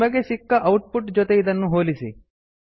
ನಿಮಗೆ ಸಿಕ್ಕ output ಜೊತೆ ಇದನ್ನು ಹೋಲಿಸಿ